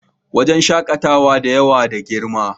Wurin shakatawa da yawa na da girma